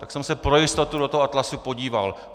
Tak jsem se pro jistotu do toho atlasu podíval.